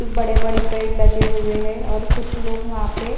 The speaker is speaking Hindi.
बड़े-बड़े पेड़ लगे हुए हैं और कुछ लोग वहां पे --